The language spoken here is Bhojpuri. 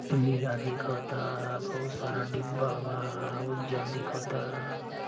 नीला दिखता बहुत सारा डीब्बा बाउज्जर दिखता।